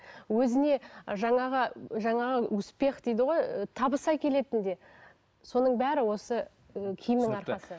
өзіне жаңағы жаңағы успех дейді ғой ы табыс әкелетін де соның бәрі осы і киімнің арқасы